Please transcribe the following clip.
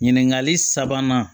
Ɲininkali sabanan